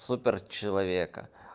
супер человека